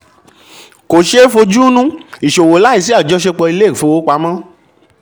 kò ṣeé fojúunú ìṣòwò láìsí àjọṣe ilé ìfowópamọ́.